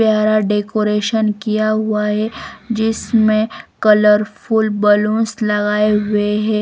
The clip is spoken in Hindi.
प्यारा डेकोरेशन किया हुआ है जिसमें कलरफुल बलूंस लगाए हुए हैं।